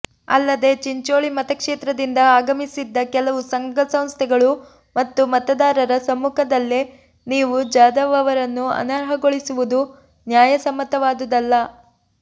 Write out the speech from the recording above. ಅಲ್ಲದೆ ಚಿಂಚೋಳಿ ಮತಕ್ಷೇತ್ರದಿಂದ ಆಗಮಿಸಿದ್ದ ಕೆಲವು ಸಂಘಸಂಸ್ಥೆಗಳು ಮತ್ತು ಮತದಾರರ ಸಮ್ಮುಖದಲ್ಲೇ ನೀವು ಜಾಧವ್ ಅವರನ್ನು ಅನರ್ಹಗೊಳಿಸುವುದು ನ್ಯಾಯಸಮ್ಮತವಾದುದಲ್ಲ